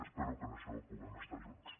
espero que en això puguem estar junts